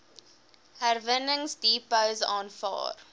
herwinningsdepots aanvaar